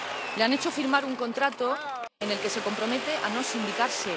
Le han hecho firmar un contrato en el que se compromete a no sindicarse.